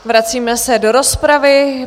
Vracíme se do rozpravy.